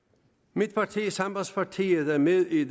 mit parti sambandspartiet er med i